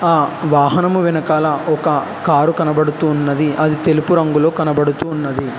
ఆ వాహనము వెనకాల ఒక కారు కనబడుతూ ఉన్నది అది తెలుపు రంగులో కనబడుతూ ఉన్నది.